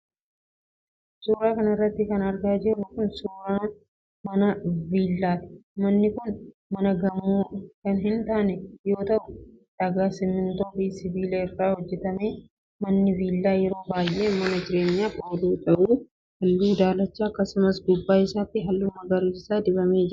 Suura kana irratti kan argaa jirru kan, suura mana viillaati. Manni kun mana gamoo kan hin taane yoo ta'u, dhagaa, simiintoo fi sibiila irraa hojjattame. Manni viillaa yeroo baay'ee mana jireenyaaf oolu yoo ta'u, haalluu daalacha akkasumas gubbaa isaatti haalluu magariisa dibamee jira.